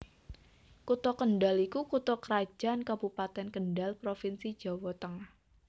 Kutha Kendhal iku Kutha krajan kabupeten Kendhal Provinsi Jawa Tengah